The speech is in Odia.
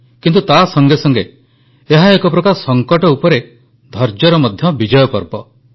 କିନ୍ତୁ ତା ସଙ୍ଗେ ସଙ୍ଗେ ଏହା ଏକ ପ୍ରକାର ସଙ୍କଟ ଉପରେ ଧୈର୍ଯ୍ୟର ମଧ୍ୟ ବିଜୟ ପର୍ବ